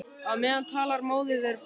Á meðan talar móðir við börn.